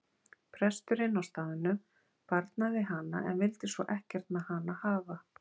Presturinn á staðnum barnaði hana en vildi svo ekkert með hana hafa.